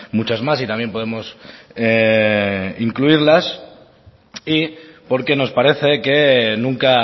muchas más y también podemos incluirlas y porque nos parece que nunca